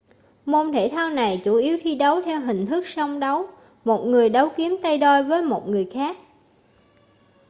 môn thể thao này chủ yếu thi đấu theo hình thức song đấu một người đấu kiếm tay đôi với một người khác